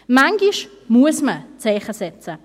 Manchmal muss man Zeichen setzen.